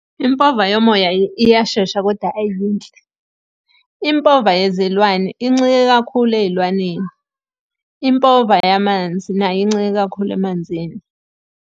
Impova yomoya iyashesha kodwa ayiyinhle. Impova yezilwane incike kakhulu ey'lwaneni. Impova yamanzi nayo incike kakhulu emanzini.